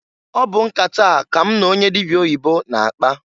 Ọ bụ nkata a ka m n'onye dịbịa oyibo na-akpa.